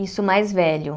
Isso mais velho.